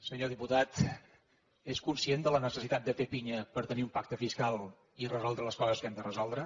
senyor diputat és conscient de la necessitat de fer pinya per tenir un pacte fiscal i resoldre les coses que hem de resoldre